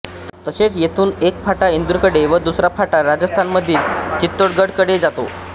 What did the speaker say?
तसेच येथून एक फाटा इंदूरकडे तर दुसरा फाटा राजस्थानमधील चित्तोडगढकडे जातो